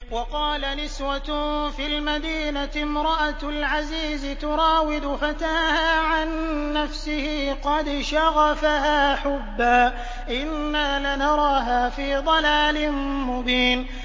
۞ وَقَالَ نِسْوَةٌ فِي الْمَدِينَةِ امْرَأَتُ الْعَزِيزِ تُرَاوِدُ فَتَاهَا عَن نَّفْسِهِ ۖ قَدْ شَغَفَهَا حُبًّا ۖ إِنَّا لَنَرَاهَا فِي ضَلَالٍ مُّبِينٍ